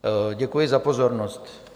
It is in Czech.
Děkuji za pozornost.